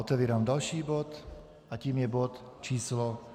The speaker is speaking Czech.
Otevírám další bod a tím je bod číslo